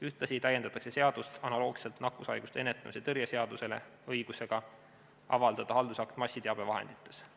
Ühtlasi täiendatakse seadust samamoodi nagu nakkushaiguste ennetamise ja tõrje seaduse puhul õigusega avaldada haldusakt massiteabevahendites.